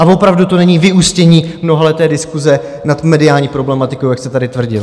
A opravdu to není vyústění mnohaleté diskuse nad mediální problematikou, jak jste tady tvrdil.